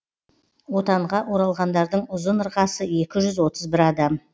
отанға оралғандардың ұзын ырғасы екі жүз отыз бір адам